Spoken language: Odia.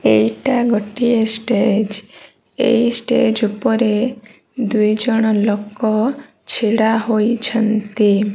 ଏଇଟା ଗୋଟିଏ ଷ୍ଟେଜ ଏଇ ଷ୍ଟେଜ ଉପରେ ଦୁଇଜଣ ଲୋକ ଛିଡ଼ା ହୋଇଛନ୍ତି।